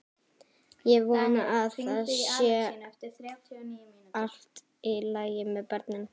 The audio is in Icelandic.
Ég vona að það sé allt í lagi með börnin.